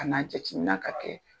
Kana jatemina ka kɛ.